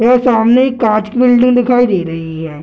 यहाँ सामने कांच की बिल्डिंग दिखाई दे रही है।